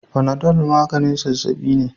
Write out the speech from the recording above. Panadol maganin zazzabi ne.